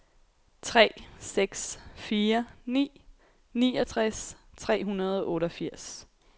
tre seks fire ni niogtres tre hundrede og otteogfirs